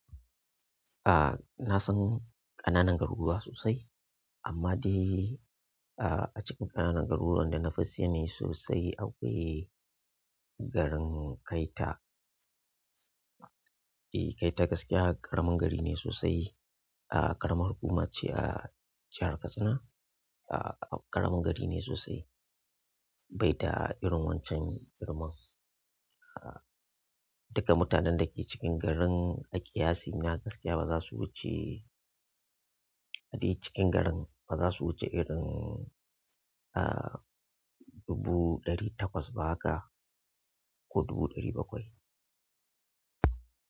Ah, na san ƙananan garuruwa sosai amma dai ah a cikin ƙananan garuruwan da na fi sani sosai akwai garin Kaita. E, Kaita gaskiya ƙaramin gari ne sosai. A ƙaramar hukuma ce a jahar Katsina ah ƙaramin gari ne sosai bai da irin wancan girman. Duka mutanen da ke cikin garin aƙiyasina gaskiya ba za su wuce a de cikin garin ba za su wuce irin ah dubu ɗari takwas ba haka ko dubu ɗari bakwai.